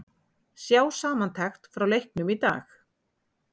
Sjá samantekt frá leiknum í dag